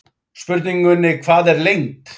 Spurningunni Hvað er lengd?